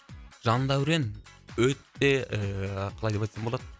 жандәурен өте ііі қалай деп айтсам болады